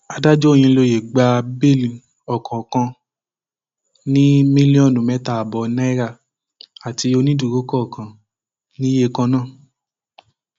adájọ òyìnlóye gba bẹẹlì ọkọọkan ní mílíọnù mẹta ààbọ náírà àti onídùúró kọọkan níye kan náà